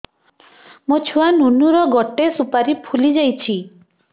ମୋ ଛୁଆ ନୁନୁ ର ଗଟେ ସୁପାରୀ ଫୁଲି ଯାଇଛି